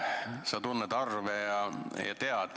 Sa tunned arve.